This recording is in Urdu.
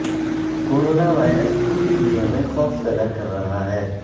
کورونا وائرس پوری دنیا میں خوف زدہ کررہا ہے